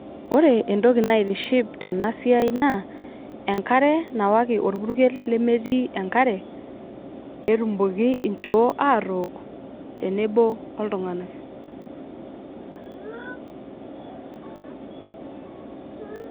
Ore entoki naitishi tena pisha naa enkare nawaiki orpukel lemetii enkare petumoki inchoo atook tenebo oltunganak.